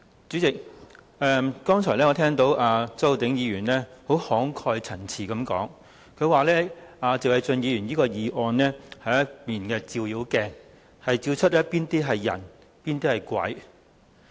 主席，我剛才聽到周浩鼎議員慷慨陳詞，表示謝偉俊議員提出的議案是一面"照妖鏡"，照出誰是人、誰是鬼。